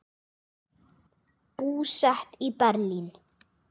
Búsett í Berlín.